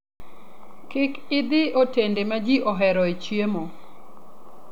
Kik idhi e otende ma ji oheroe chiemo.